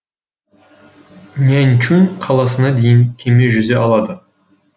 наньчун қаласына дейін кеме жүзе алады